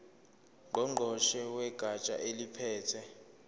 ngqongqoshe wegatsha eliphethe